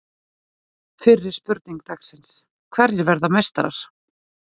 Fyrri spurning dagsins: Hverjir verða meistarar?